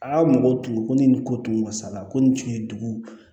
A ka mɔgɔw tun ko ni nin ko tun mansa la ko nin tun ye dugu